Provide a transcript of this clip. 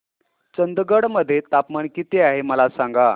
चंदगड मध्ये तापमान किती आहे मला सांगा